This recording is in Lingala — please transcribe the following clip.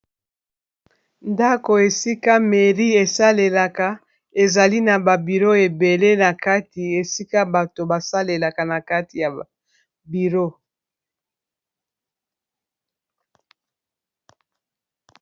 Ndako, esika Mairie esalelaka. Ezali naba biro ebele na kati, esika bato basalelaka na kati ya biro.